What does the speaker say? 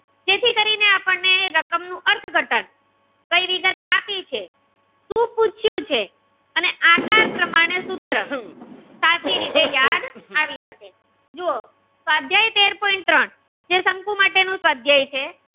કઈ વિગત આપી છે શું પૂછ્યું છે અને આકાર પ્રમાણે સૂત્ર સાચી રીતે યાદ આવી શકે છે જુઓ સ્વાધ્યાય તેર પોઈન્ટ ત્રણ જે શંકુ માટેનું સ્વાધ્યાય છે